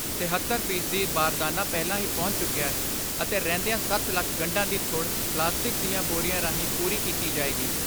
ਤਿਹੱਤਰ ਫੀਸਦੀ ਬਾਰਦਾਨਾ ਪਹਿਲਾਂ ਹੀ ਪਹੁੰਚ ਚੁੱਕਿਐ ਅਤੇ ਰਹਿੰਦੀਆਂ ਸੱਤ ਲੱਖ ਗੰਢਾਂ ਦੀ ਥੁੜ ਪਲਾਸਟਿਕ ਦੀਆਂ ਬੋਰੀਆਂ ਰਾਹੀਂ ਪੂਰੀ ਕੀਤੀ ਜਾਏਗੀ।